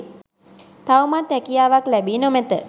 තවමත් හැකියාවක් ලැබී නො මැත.